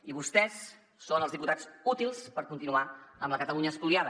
i vostès són els diputats útils per continuar amb la catalunya espoliada